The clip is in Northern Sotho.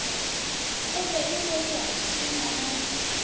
gobe e wetšwa ke namane